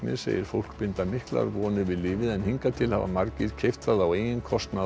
segir fólk binda miklar vonir við lyfið en hingað til hafa margir keypt það á eigin kostnað